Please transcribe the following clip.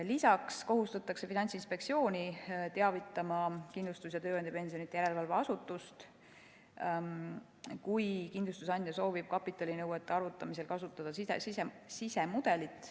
Lisaks kohustatakse Finantsinspektsiooni teavitama Kindlustus‑ ja Tööandjapensionide Järelevalve Asutust, kui kindlustusandja soovib kapitalinõuete arvutamisel kasutada sisemudelit.